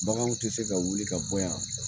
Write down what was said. Bagan tɛ se ka wuli ka bɔ yan